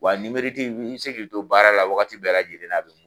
Wa i bɛ se k'i to baara la wagati bɛɛ la lajɛlenn